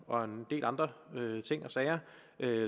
og en del andre ting og sager